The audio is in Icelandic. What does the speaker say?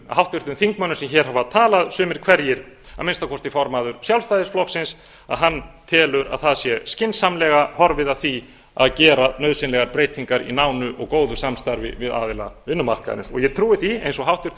háttvirtum þingmönnum sem hér hafa talað sumum hverjum að minnsta kosti formanni sjálfstæðisflokksins að hann telur að það sé skynsamlega horfið að því að gera nauðsynlegar breytingar í nánu og góðu samstarfi við aðila vinnumarkaðarins og ég trúi því eins og hæstvirtur